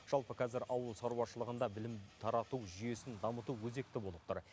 жалпы қазір ауыл шаруашылығында білім тарату жүйесін дамыту өзекті болып тұр